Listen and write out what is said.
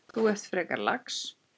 Þú ert frekar lax.